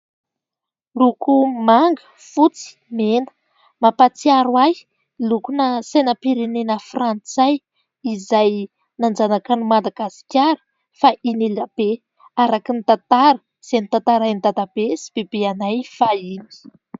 Loko manga, fotsy, mena : mampahatsiaro ahy lokona sainam-pirenena Frantsay izay nanjanaka an'i Madagasikara fahiny elabe araky ny tantara izay notantarain'i Dadabe sy Bebenay fahiny.